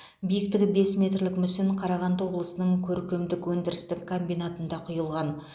биіктігі бес метрлік мүсін қарағанды облысының көркемдік өндірістік комбинатында құйылған